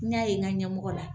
N y'a ye n ka ɲɛmɔgɔ la.